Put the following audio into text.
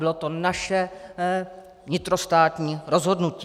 Bylo to naše vnitrostátní rozhodnutí.